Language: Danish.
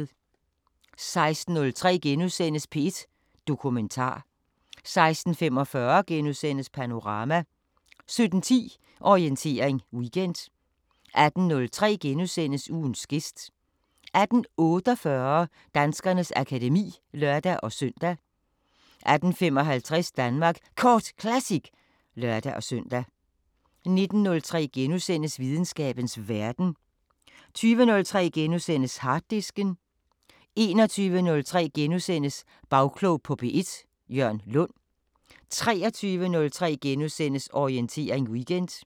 16:03: P1 Dokumentar * 16:45: Panorama * 17:10: Orientering Weekend 18:03: Ugens gæst * 18:48: Danskernes akademi (lør-søn) 18:55: Danmark Kort Classic (lør-søn) 19:03: Videnskabens Verden * 20:03: Harddisken * 21:03: Bagklog på P1: Jørn Lund * 23:03: Orientering Weekend *